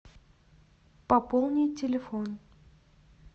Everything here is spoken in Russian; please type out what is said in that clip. пополнить телефон